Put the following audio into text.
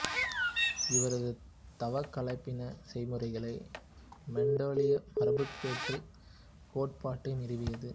இவரது தாவக் கலப்பின செய்முறைகள் மெண்டெலிய மரபுப்பேற்றுக் கோட்பாட்டை நிறுவியது